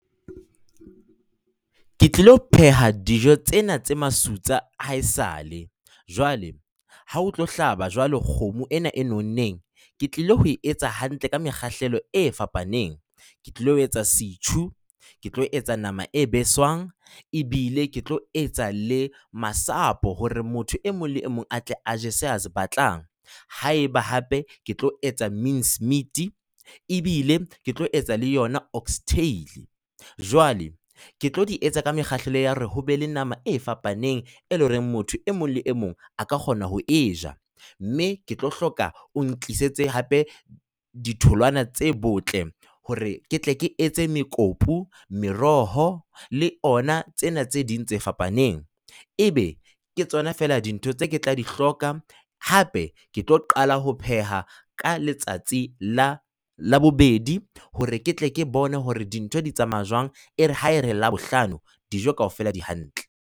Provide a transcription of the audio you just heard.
Ke tlilo pheha dijo tsena tse masutsa a haesale. Jwale ha o tlo hlaba jwale kgomo ena e nonneng, ke tlilo ho e etsa hantle ka mekgahlelo e fapaneng. Ke tlo etsa setjhu, ke tlo etsa nama e beswang, ebile ke tlo etsa le masapo hore motho e mong le mong a tle a je seo a se batlang. Haeba hape ke tlo etsa mincemeat ebile ke tlo etsa le yona oxtail. Jwale, ke tlo di etsa ka mekgahlelo ya hore ho be le nama e fapaneng, e leng hore motho e mong le e mong a ka kgona ho e ja. Mme ke tlo hloka o ntlisetse hape ditholwana tse botle, hore ke tle ke etse mekopu. Meroho le ona tsena tse ding tse fapaneng, ebe ke tsona fela dintho tse ke tla di hloka, hape ke tlo qala ho pheha ka letsatsi la Labobedi, hore ke tle ke bone hore dintho di tsamaya jwang. Ere ha ere Labohlano dijo kaofela di hantle.